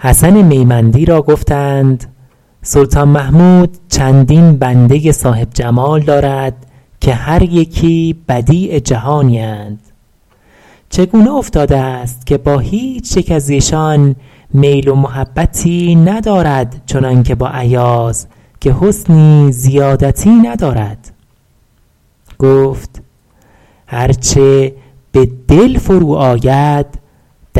حسن میمندی را گفتند سلطان محمود چندین بنده صاحب جمال دارد که هر یکی بدیع جهانی اند چگونه افتاده است که با هیچ یک از ایشان میل و محبتی ندارد چنان که با ایاز که حسنی زیادتی ندارد گفت هر چه به دل فرو آید